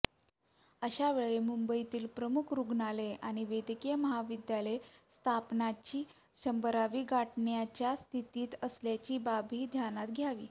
अशावेळी मुंबईतील प्रमुख रुग्णालये आणि वैद्यकीय महाविद्यालये स्थापनेची शंभरावी गाठण्याच्या स्थितीत असल्याची बाबही ध्यानात घ्यावी